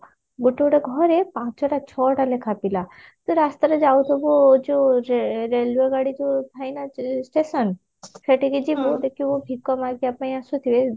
ଗୋଟେ ଗୋଟେ ଘରେ ପାଞ୍ଚଟା ଛଅଟା ଲେଖା ପିଲା ତୁ ରାସ୍ତାରେ ଯାଉଥିବୁ ଯଉ ରେ railway ଗାଡି ଯଉ ଥାଏନା station ସେଠିକି ଯିବୁ ଦେଖିବୁ ଭିକ ମାଗିବା ପାଇଁ ଆସୁଥିବେ